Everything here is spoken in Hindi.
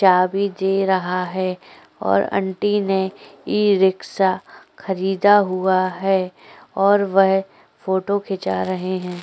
चाबी दे रहा है और आंटी ने ई रिक्शा खरीदा हुआ है और वह फोटो खीचा रहे हैं।